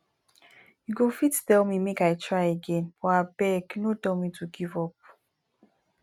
you go fit tell me make i try again but abeg no tell me to give up